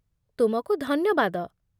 ତୁମକୁ ଧନ୍ୟବାଦ!